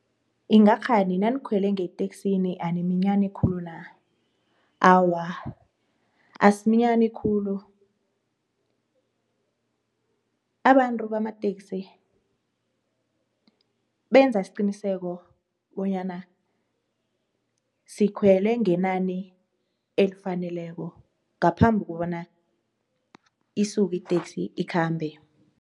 Ingakghani nanikhwele ngeteksini animinyani khulu na? Awa, asiminyani khulu abantu bamateksi benza isiqiniseko bonyana sikhwele ngenani elifaneleko ngaphambi kobana isuke iteksi ikhambe.